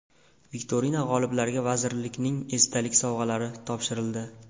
Viktorina g‘oliblariga vazirlikning esdalik sovg‘alari topshirildi.